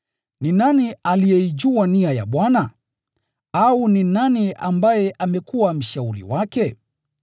“Ni nani aliyeyafahamu mawazo ya Bwana? Au ni nani ambaye amekuwa mshauri wake?”